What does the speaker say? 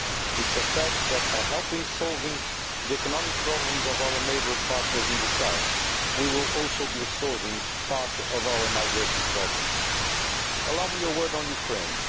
It is a fact that, by helping to solve the economic problems of our neighbour partners in the south, we will also be solving part of our migration problems. Allow me a word on Ukraine.